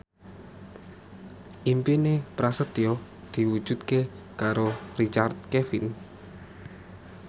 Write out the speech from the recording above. impine Prasetyo diwujudke karo Richard Kevin